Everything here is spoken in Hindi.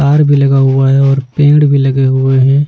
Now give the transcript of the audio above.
तार भी लगा हुआ है और पेड़ भी लगे हुए हैं।